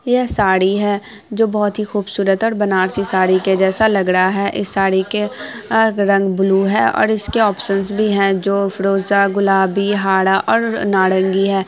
यह साड़ी है जो बहुत ही खूबसूरत और बनारसी साड़ी के जैसा लग रहा है| इस साड़ी के अ रंग ब्लू है और इसके ऑपशनस भी है जो फिरोजा गुलाबी हरा और नारंगी है।